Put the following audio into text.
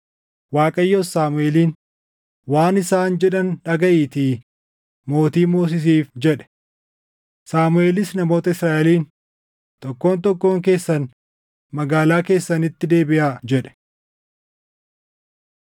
Waaqayyos Saamuʼeeliin, “Waan isaan jedhan dhagaʼiitii mootii moosisiif” jedhe. Saamuʼeelis namoota Israaʼeliin, “Tokkoon tokkoon keessan magaalaa keessanitti deebiʼaa” jedhe.